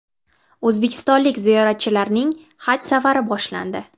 O‘zbekistonlik ziyoratchilarning haj safari boshlandi.